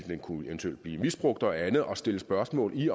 kunne blive misbrugt og andet og stille spørgsmål i